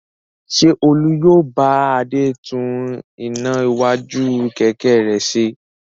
Ṣé Olú yóò bá Adé tún iná iwájú kẹ̀kẹ́ rẹ̀ ṣe?